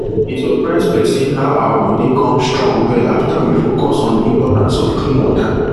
e surprise person how our body come strong well after we focus on the importance of clean water